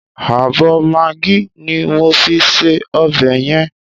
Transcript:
Ààbọ̀ magí ni mo fi sí ọbẹ̀ yẹn.